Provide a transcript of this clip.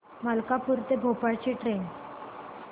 मलकापूर ते भोपाळ ची ट्रेन